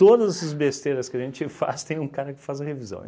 Todas essas besteiras que a gente faz, tem um cara que faz a revisão.